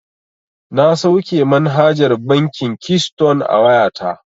Na sauke manhajar bankin kiston a wayata.